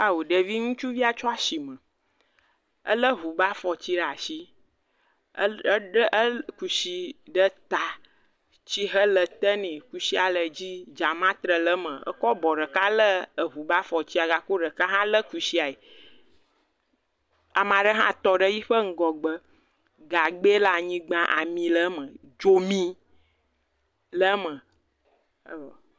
Ao ɖevi ŋutsuvia tso asime. Ele ŋu be afɔtsi ɖe asi. Eɖe eɖe e kusi ɖe ta. Tsihe le te nɛ. Kusia le dzi. Dzametre le eme. Ekɔ abɔ ɖeka le eŋu be afɔtsi ga ko ɖeka hã le kusiae. Ame aɖe hã tɔ ɖe yiƒe ŋgɔgbe. Gagbɛ le anyigba ami le eme. Dzomi le eme. Evɔ.